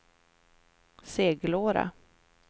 Seglora